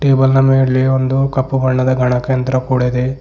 Table ನ ಮೇಲೆ ಒಂದು ಕಪ್ಪು ಬಣ್ಣದ ಗಣಕ ಯಂತ್ರ ಕೂಡ ಇದೆ.